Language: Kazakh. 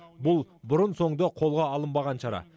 бұл бұрын соңды қолға алынбаған шара